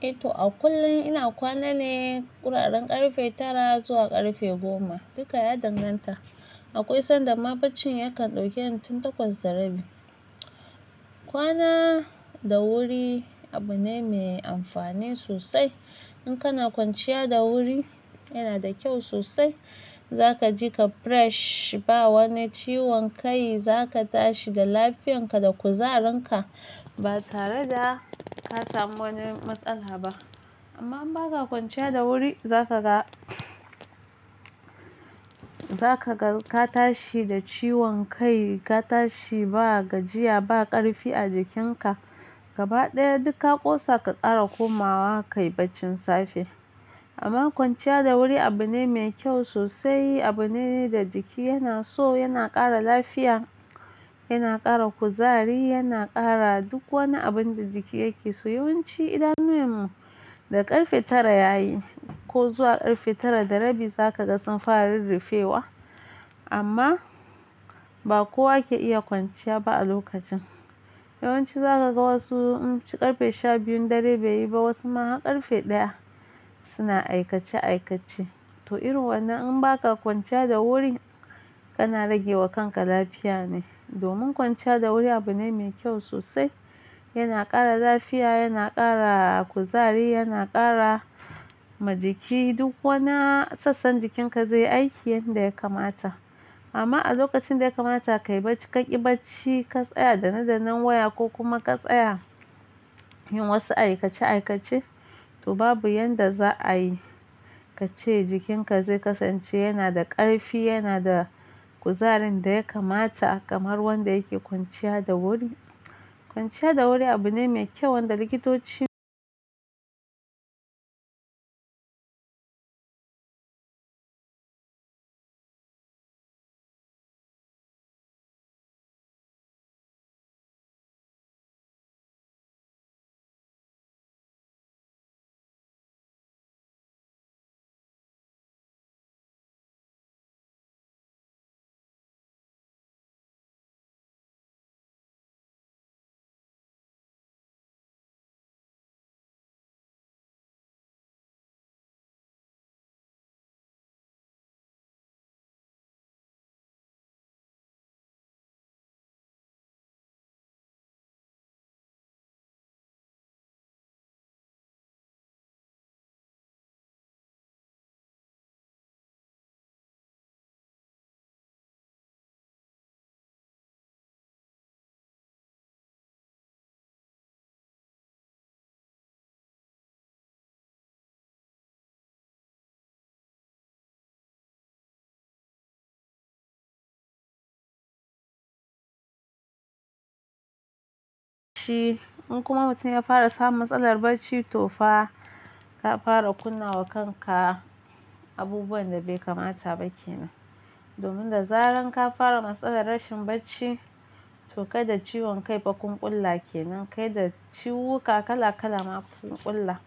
To a kullum ina kwana ne kuraren ƙarfe tara zuwa ƙarfe goma. Duka ya danganta. Akwai sanda ma bacci yakan ɗauke ni tun takwas da rabi. Kwana da wuri abu ne me amfani sosai. In kana kwanciya da wuri yana da kyau sosai. Zaka ji ka fresh, ba wani ciwon kai, za ka tashi da lafiyarka da kuzarinka ba tare da ka samu wani matsala ba. Amma in ba ka kwanciya da wuri za ka ga, za ka ga ka tashi da ciwon kai, ka tashi ba gajiya, ba ƙarfi a jikinka. Gaba ɗaya duk ka kosa ka kara komawa kayi bacci safe. Amma kwanciya da wuri abu ne mai kyau sosai. Abu ne da jiki yana so, yana ƙara lafiya, yana ƙara kuzari, yana ƙara duk wani abun da jiki yake so. Yawanci idan numin mu da ƙarfe tara yayi ko zuwa ƙarfe tara da rabi za ka ga sun fara ruffewa. Amma ba kowa ke iya kwanciya ba a lokacin. Yawanci za ka ga wasu in ci ƙarfe sha biyun dare bai yi ba, wasu ma har ƙarfe ɗaya suna aikace aikace. To irin wannan in ba ka kwanciya da wuri kana rage wa kanka lafiya ne. Domin kwanciya da wuri abu ne mai kyau sosai. Yana ƙara lafiya, yana ƙara kuzari, yana ƙara ma jiki duk wani sassan jikinka zai yi aiki yanda ya kamata. Amma a lokacin da ya kamata ka yi bacci, ka ƙi bacci ka tsaya dana dannan waya ko kuma ka tsaya yin wasu aikace aikace, to babu yanda za a yi ka ce jikinka zai kasance yana da ƙarfi, yana da kuzarin da ya kamata kamar wanda yake kwanciya da wuri. Kwanciya da wuri abu ne mai kyau wanda likitoci shi in kuma mutum ya fara samun matsalar bacci to fa ka fara kunna wa kanka abubuwan da bai kamata ba kenan. Domin da zaran ka fara matsalar rashin bacci to kai da ciwon kai fa kun kulla kenan, kai da ciwuka kala kala ma kun kulla.